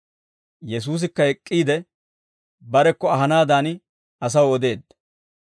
Yesuusikka ek'k'iide, barekko ahanaadan asaw odeedda.